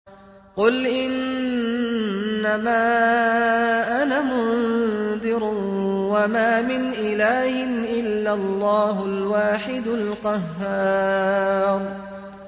قُلْ إِنَّمَا أَنَا مُنذِرٌ ۖ وَمَا مِنْ إِلَٰهٍ إِلَّا اللَّهُ الْوَاحِدُ الْقَهَّارُ